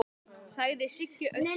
sagði Siggi Öddu.